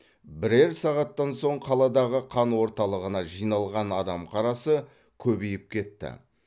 бірер сағаттан соң қаладағы қан орталығына жиналған адам қарасы көбейіп кетті